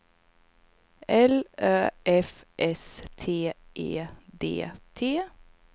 L Ö F S T E D T